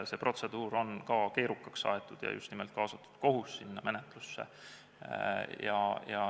See protseduur on keerukaks aetud ja just nimelt kaasatud kohus sinna menetlusse.